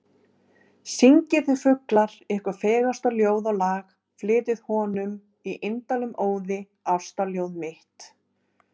Syngið þið fuglar, ykkar fegursta ljóð og lag, flytjið honum, í indælum óði, ástarljóð mitt.